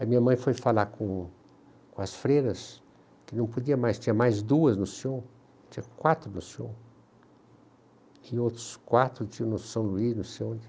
A minha mãe foi falar com o com as freiras, que não podia mais, tinha mais duas no Sion, tinha quatro no Sion, tinha outros quatro tinha no São Luís, não sei onde.